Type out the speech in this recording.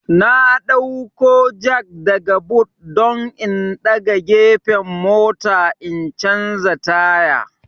N dauko jak daga but don in daga gefen mota in canja taya